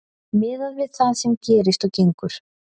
Miðað við það sem gerist og gengur.